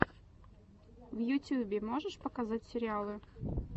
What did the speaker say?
в ютьюбе можешь показать сериалы